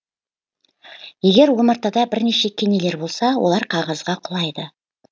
егер омартада бірнеше кенелер болса олар қағазға құлайды